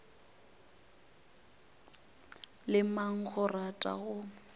le mang o rata go